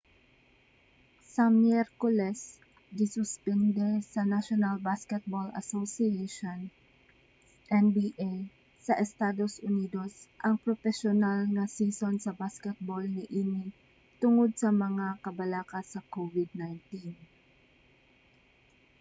sa miyerkules gisuspende sa national basketball association nba sa estados unidos ang propesyonal nga season sa basketbol niini tungod sa mga kabalaka sa covid-19